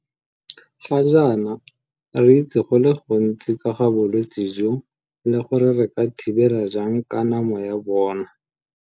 Ga jaana re itse go le gontsi ka ga bolwetse jo le gore re ka thibela jang kanamo ya bona.